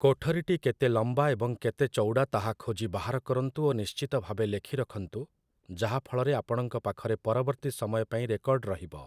କୋଠରୀଟି କେତେ ଲମ୍ବା ଏବଂ କେତେ ଚଉଡ଼ା ତାହା ଖୋଜି ବାହାର କରନ୍ତୁ ଓ ନିଶ୍ଚିତ ଭାବେ ଲେଖି ରଖନ୍ତୁ, ଯାହା ଫଳରେ ଆପଣଙ୍କ ପାଖରେ ପରବର୍ତ୍ତୀ ସମୟପାଇଁ ରେକର୍ଡ ରହିବ ।